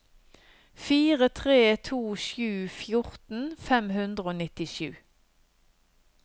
fire tre to sju fjorten fem hundre og nittisju